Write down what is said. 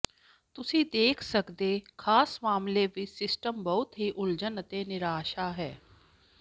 ਤੁਸੀ ਦੇਖ ਸਕਦੇ ਖਾਸ ਮਾਮਲੇ ਵਿੱਚ ਸਿਸਟਮ ਬਹੁਤ ਹੀ ਉਲਝਣ ਅਤੇ ਨਿਰਾਸ਼ਾ ਹੈ